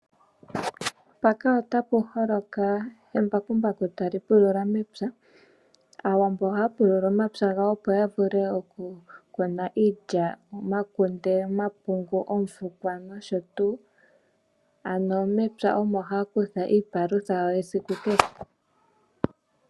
Aawambo ohaya pulula omapya gawo opo ya vule oku kuna iilya, omakunde, omapungu, oofukwa no sho tuu. Ano mepya omo haya kutha iipalutha yawo yesiku kehe.